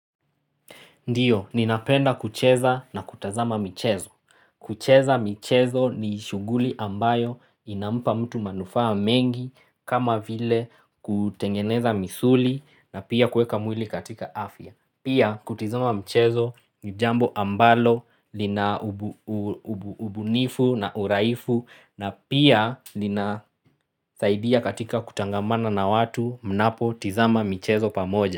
Ndiyo, ninapenda kucheza na kutazama michezo. Kucheza michezo ni shughuli ambayo inampa mtu manufaa mengi kama vile kutengeneza misuli na pia kueka mwili katika afya. Pia kutizama michezo ni jambo ambalo lina ubunifu na uraifu na pia linasaidia katika kutangamana na watu mnapotizama michezo pamoja.